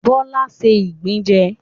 Bọ́lá ṣé ìgbín jẹ